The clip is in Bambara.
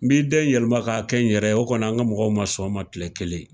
N bi den yɛlɛma ka kɛ n yɛrɛ ,o kɔni an ka mɔgɔw ma sɔn o ma kile kelen.